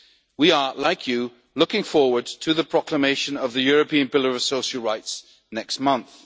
chain. We are like you looking forward to the proclamation of the European pillar of social rights next